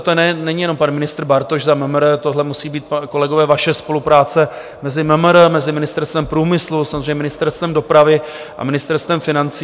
A to není jenom pan ministr Bartoš za MMR, tohle musí být, kolegové, vaše spolupráce mezi MMR, mezi Ministerstvem průmyslu, samozřejmě Ministerstvem dopravy a Ministerstvem financí.